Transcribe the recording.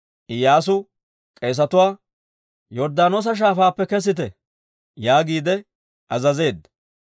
Iyyaasu k'eesetuwaa, «Yorddaanoosa Shaafaappe kesite» yaagiide azazeedda.